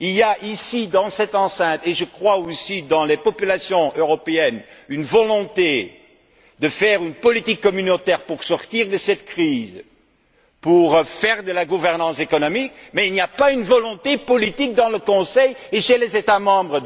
Il y a ici, dans cette enceinte, et je crois aussi, dans les populations européennes, une volonté de faire une politique communautaire pour sortir de cette crise, pour faire de la gouvernance économique, mais on ne retrouve pas cette volonté politique au sein du Conseil et parmi les États membres.